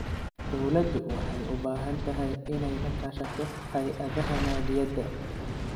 Dawladdu waxay u baahan tahay inay la kaashato hay�adaha maaliyadda.